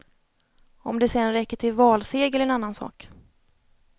Om det sedan räcker till valseger är en annan sak.